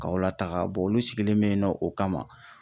Ka aw lataga olu sigilen bɛ yennɔ o kama.